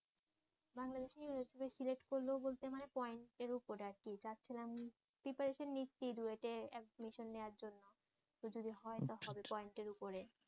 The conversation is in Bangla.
সিলেক্ট করলে বলতে মানে পয়েন্টের ওপরে আরকি চাচ্ছিলাম প্রিপারেশন নিচ্ছি ডুয়েটে এডমিশন নেয়ার জন্য যদি হয় তাহলে পয়েন্টের ওপরে